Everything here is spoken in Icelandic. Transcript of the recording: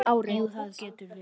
Jú, það getur verið.